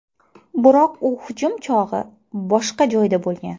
Biroq u hujum chog‘i boshqa joyda bo‘lgan.